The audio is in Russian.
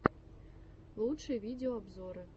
лучшие видеообзоры